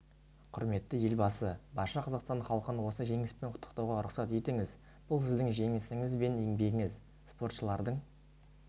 құрметті елбасы барша қазақстан халқын осы жеңіспен құттықтауға рұқсат етіңіз бұл сіздің жеңісіңіз бен еңбегіңіз спортшылардың